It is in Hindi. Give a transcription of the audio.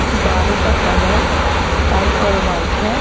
दीवारों का कलर स्काई और व्हाइट है।